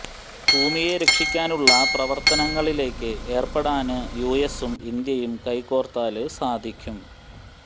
ഭൂമിയെ രക്ഷിക്കാനുള്ള പ്രവര്ത്തനങ്ങളില് ഏര്പ്പെടാന് യു എസും ഇന്ത്യയും കൈകോര്ത്താല് സാധിയ്ക്കും